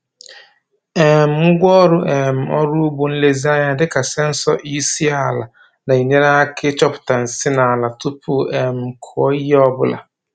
um Ngwaọrụ um ọrụ ugbo nlezianya dị ka sensọ EC ala na-enyere aka ịchọpụta nsị n’ala tupu a um kụọ ihe ọ bụla.